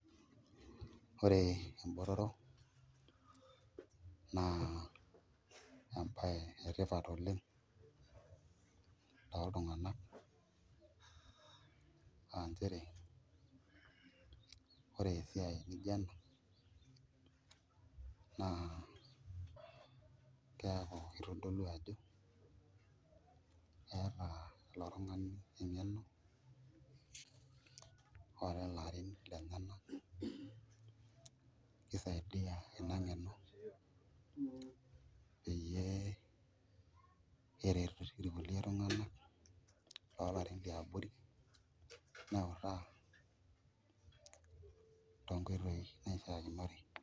Ore embotoro naa embaye etipat oleng' toltung'anka aa nchere ore esiai ene maana naa keeku kitodolu ajo keeta ilo tung'ani eng'eno oolelo arin lenyenak pee isaidia kulie tung'anak oolarrin liabori neutaa toonkoitoi naishiaa.